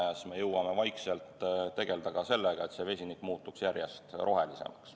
Ja siis me jõuame vaikselt tegelda ka sellega, et vesinik muutuks järjest rohelisemaks.